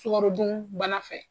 Sukarodun bana fɛ.